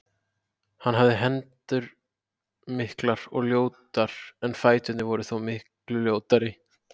Hann hafði hendur miklar og ljótar en fæturnir voru þó miklu ljótari.